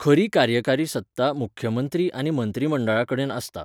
खरी कार्यकारी सत्ता मुख्यमंत्री आनी मंत्रीमंडळा कडेन आसता.